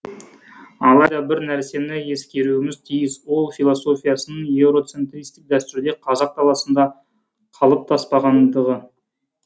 алайда бір нәрсені ескеруіміз тиіс ол философияның еуроцентристік дәстүрде қазақ даласында қалыптаспағандығы